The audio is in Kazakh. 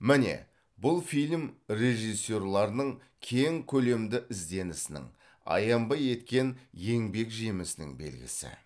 міне бұл фильм режиссерларының кең көлемді ізденісінің аянбай еткен еңбек жемісінің белгісі